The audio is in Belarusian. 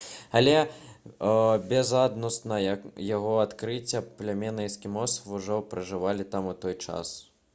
але безадносна яго адкрыцця плямёны эскімосаў ужо пражывалі там у той час